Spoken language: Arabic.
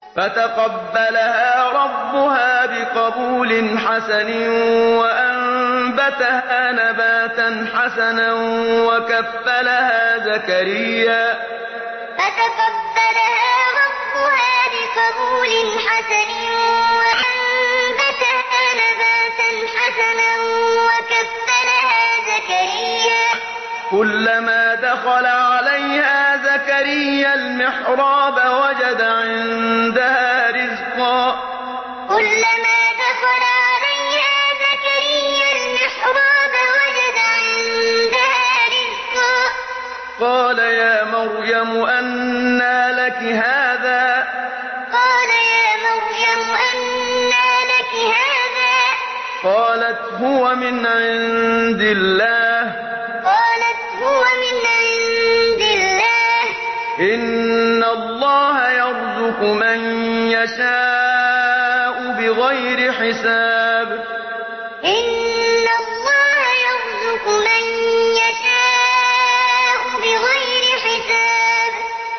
فَتَقَبَّلَهَا رَبُّهَا بِقَبُولٍ حَسَنٍ وَأَنبَتَهَا نَبَاتًا حَسَنًا وَكَفَّلَهَا زَكَرِيَّا ۖ كُلَّمَا دَخَلَ عَلَيْهَا زَكَرِيَّا الْمِحْرَابَ وَجَدَ عِندَهَا رِزْقًا ۖ قَالَ يَا مَرْيَمُ أَنَّىٰ لَكِ هَٰذَا ۖ قَالَتْ هُوَ مِنْ عِندِ اللَّهِ ۖ إِنَّ اللَّهَ يَرْزُقُ مَن يَشَاءُ بِغَيْرِ حِسَابٍ فَتَقَبَّلَهَا رَبُّهَا بِقَبُولٍ حَسَنٍ وَأَنبَتَهَا نَبَاتًا حَسَنًا وَكَفَّلَهَا زَكَرِيَّا ۖ كُلَّمَا دَخَلَ عَلَيْهَا زَكَرِيَّا الْمِحْرَابَ وَجَدَ عِندَهَا رِزْقًا ۖ قَالَ يَا مَرْيَمُ أَنَّىٰ لَكِ هَٰذَا ۖ قَالَتْ هُوَ مِنْ عِندِ اللَّهِ ۖ إِنَّ اللَّهَ يَرْزُقُ مَن يَشَاءُ بِغَيْرِ حِسَابٍ